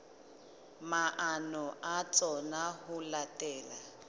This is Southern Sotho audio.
maano a tsona ho latela